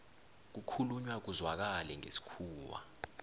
kukhulunywa kuzwakale ngesikhuwa